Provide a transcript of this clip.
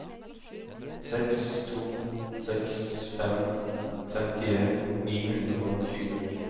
seks to seks fem femtien ni hundre og tjue